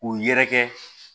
K'u yɛrɛkɛ